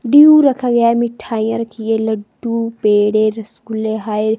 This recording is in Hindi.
ड्यू रखा गया है मिठाइयां रखी है लड्डू पेड़े रसगुले है।